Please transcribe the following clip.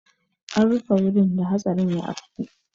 An rufe wurin da hatsarin ya afku.